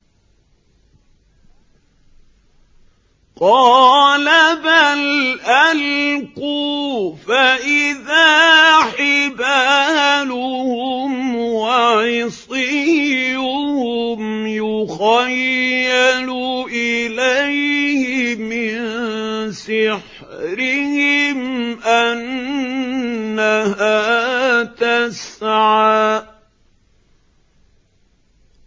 قَالَ بَلْ أَلْقُوا ۖ فَإِذَا حِبَالُهُمْ وَعِصِيُّهُمْ يُخَيَّلُ إِلَيْهِ مِن سِحْرِهِمْ أَنَّهَا تَسْعَىٰ